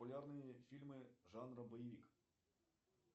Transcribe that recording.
популярные фильмы жанра боевик